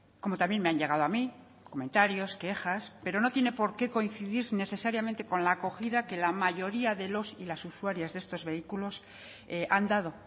como también me han llegado a mí comentarios quejas pero no tiene por qué coincidir necesariamente con la acogida que la mayoría de los y las usuarias de estos vehículos han dado